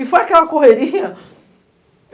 E foi aquela correria.